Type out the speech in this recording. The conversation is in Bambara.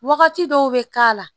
Wagati dɔw bɛ k'a la